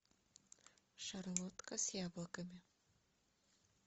шарлотка с яблоками